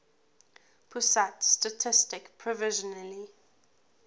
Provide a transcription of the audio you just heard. pusat statistik provisionally